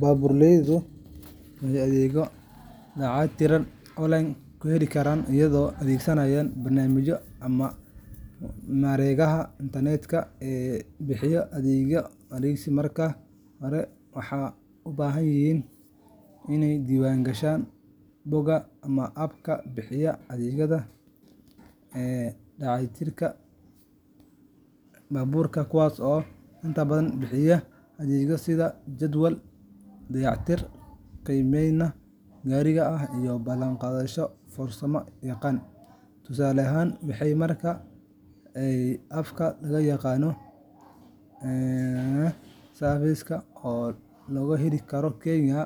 Baabuurleydu waxay adeegyo dayactir online ah ku heli karaan iyagoo adeegsanaya barnaamijyo ama mareegaha internet-ka ee bixiya adeegyadaas. Marka hore, waxay u baahan yihiin inay ka diiwaangashaan bogagga ama abka bixiya adeegga dayactirka baabuurta, kuwaas oo inta badan bixiya adeegyo sida jadwal dayactir, qiimeyn gaariga ah, iyo ballan qaadasho farsamo yaqaan. Tusaale ahaan, waxay mari karaan ab la yiraahdo Mechanic Appka am oo laga heli karo Kenya,